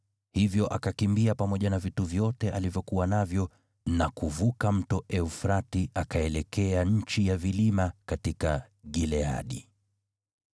Hivyo akakimbia pamoja na vitu vyote alivyokuwa navyo na kuvuka Mto Frati akaelekea nchi ya vilima katika Gileadi.